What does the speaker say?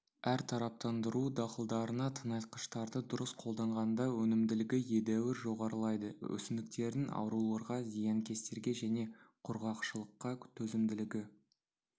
әртараптандыру дақылдарына тыңайтқыштарды дұрыс қолданғанда өнімділігі едәуір жоғарылайды өсімдіктердің ауруларға зиянкестерге және құрғақшылыққа төзімділігі